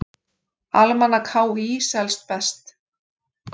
Almanak HÍ selst best